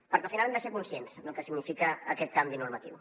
perquè al final hem de ser conscients del que significa aquest canvi normatiu